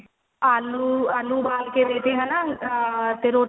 ਆਲੂ ਆਲੂ ਉਵਾਲ ਕੇ ਦੇਤੇ ਹਨਾ ah ਤੇ